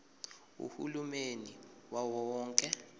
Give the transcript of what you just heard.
uhulumeni wawo wonke